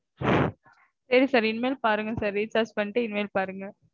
சரி sir. இனிமேல் பாருங்க sir recharge பண்ணிட்டு இனிமேல் பாருங்க